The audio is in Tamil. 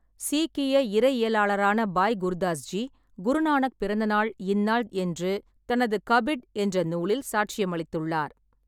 சீக்கிய இறையியலாளரான பாய் குர்தாஸ் ஜி, குருநானக் பிறந்தநாள் இந்நாள் என்று தனது 'கபிட்' என்ற நூலில் சாட்சியமளித்துள்ளார்.